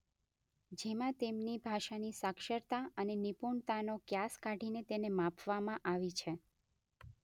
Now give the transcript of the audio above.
જેમાં તેમની ભાષાની સાક્ષરતા અને નિપુણતાનો ક્યાસ કાઢીને તેને માપવામાં આવી છે.